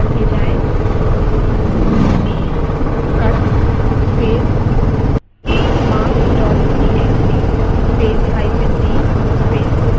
cut space marks dot txt space hyphen d space open inverted commas space close inverted commas space